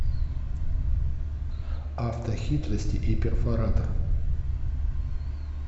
автохитрости и перфоратор